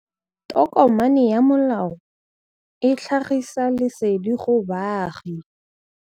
Tokomane ya molao ke tlhagisi lesedi go baagi.